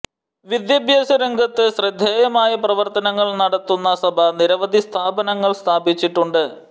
വിദ്യാഭ്യാസരംഗത്ത് ശ്രദ്ധേയമായ പ്രവർത്തനങ്ങൾ നടത്തുന്ന സഭ നിരവധി സ്ഥാപനങ്ങൾ സ്ഥാപിച്ചിട്ടുണ്ട്